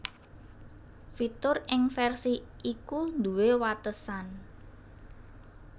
Fitur ing versi iku nduwé watesan